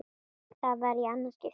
Það var í annað skipti.